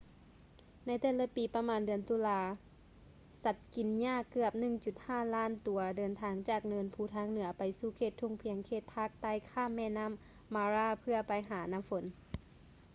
ໃນແຕ່ລະປີປະມານເດືອນຕຸລາ ສັດກິນຫຍ້າເກືອບ 1.5 ລ້ານຕົວເດີນທາງຈາກເນີນພູທາງເໜືອໄປສູ່ເຂດທົ່ງພຽງເຂດພາກໃຕ້ຂ້າມແມ່ນໍ້າ mara ເພື່ອໄປຫານ້ຳຝົນ